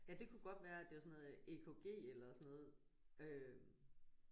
Ja det kunne godt være at det var sådan noget EKG eller sådan noget øh